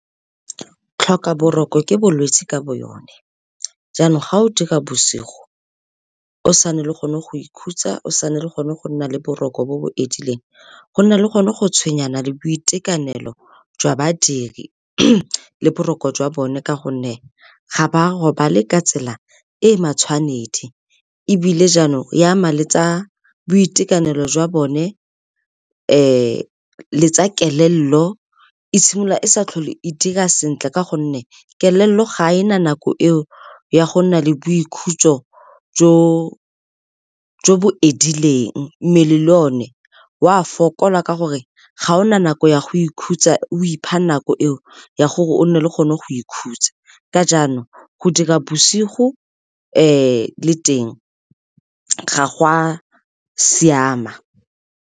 Tlhoka boroko ke bolwetsi ka bo yone, jaanong ga o dira bosigo o sa nne le gone go ikhutsa, o sa nne le gone go nna le boroko jo bo edileng, go nna le gone go tshwenyana le boitekanelo jwa badiri le boroko jwa bone ka gonne ga ba robale ka tsela e matshwanedi ebile jaanong e ama le tsa boitekanelo jwa bone le tsa kelello. E simolola e sa tlhole e dira sentle ka gonne kelello ga ena nako eo ya go nna le boikhutso jo bo edileng, mmele le o ne wa fokola ka gore ga ona nako ya go ikhutsa o ipha nako eo ya gore o nne o kgone go ikhutsa ka jaanong go dira bosigo le teng ga go a siama.